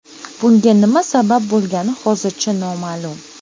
bunga nima sabab bo‘lgani hozircha noma’lum.